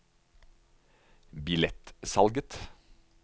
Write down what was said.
billettsalget